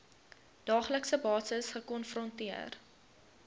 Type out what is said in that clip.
daaglikse basis gekonfronteer